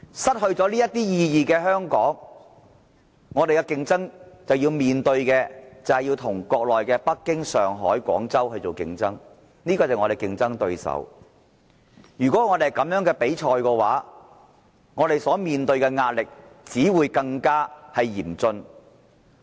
失去了這些意義的香港要面對北京、上海、廣州的競爭，這些都是我們的競爭對手。如果我們這樣參加比賽的話，我們所面對的壓力，只會更加嚴峻。